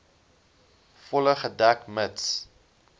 volle gedek mits